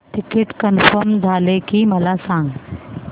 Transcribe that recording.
ticket confirm झाले की मला सांग